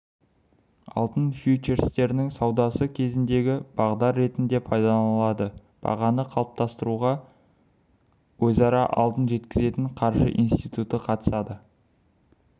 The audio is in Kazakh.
алтын фьючерстерінің саудасы кезінде бағдар ретінде пайдаланылады бағаны қалыптастыруға өзара алтын жеткізетін қаржы институты қатысады